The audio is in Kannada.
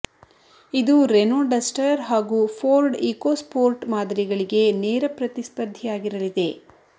ಇದು ರೆನೊ ಡಸ್ಟರ್ ಹಾಗೂ ಫೋರ್ಡ್ ಇಕೊಸ್ಪೋರ್ಟ್ ಮಾದರಿಗಳಿಗೆ ನೇರ ಪ್ರತಿಸ್ಪರ್ಧಿಯಾಗಿರಲಿದೆ